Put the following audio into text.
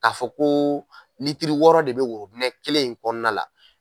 K'a fɔ ko litiri wɔɔrɔ de bɛ worobinɛ kelen in kɔnɔna la.